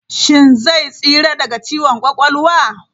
Shin zai tsira daga ciwon kwakwalwa?